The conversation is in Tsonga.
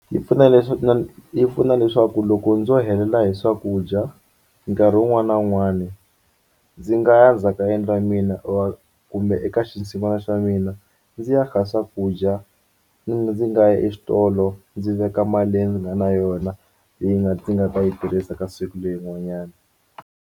Yi pfuna yi pfuna leswaku loko ndzo helela hi swakudya nkarhi wun'wani na wun'wani ndzi nga ya ndzhaku ka yindlu ya mina or kumbe eka xinsin'wana xa mina ndzi ya kha swakudya ndzi nga yi exitolo ndzi veka mali leyi ndzi nga na yona leyi nga ndzi nga ta yi tirhisa ka siku leyin'wanyana.